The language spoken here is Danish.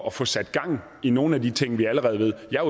at få sat gang i nogle af de ting vi allerede ved jeg